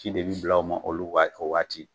Ci de bi bila o ma, olu b'a kɛ o waati